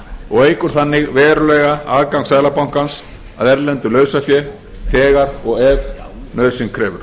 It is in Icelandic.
og eykur þannig verulega aðgang seðlabankans að erlendu lausafé þegar og ef nauðsyn krefur